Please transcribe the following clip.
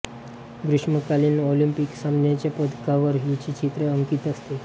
ग्रीष्मकालीन ऑलिंपिक सामन्यांच्या पदकांवर हिचे चित्र अंकित असते